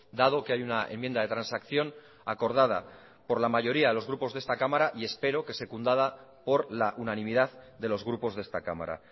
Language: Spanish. dado que hay una enmienda de transacción acordada por la mayoría de los grupos de esta cámara y espero que secundada por la unanimidad de los grupos de esta cámara